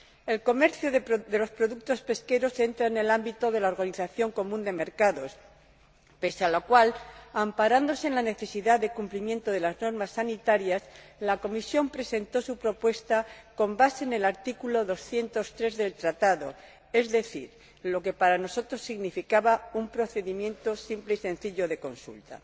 El comercio de los productos pesqueros entra en el ámbito de la Organización Común de Mercados, pese a lo cual, amparándose en la necesidad de cumplimiento de las normas sanitarias, la Comisión presentó su propuesta basándose en el artículo 203 del Tratado, lo que para nosotros significaba un procedimiento simple y sencillo de consulta.